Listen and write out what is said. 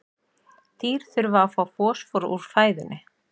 Dýr þurfa að fá fosfór úr fæðunni.